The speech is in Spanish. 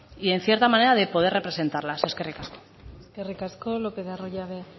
y en cierta manera de poder representarlas eskerrik asko eskerrik asko lopez de arroyabe